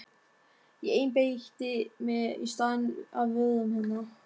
Ég einbeiti mér í staðinn að vörum hennar.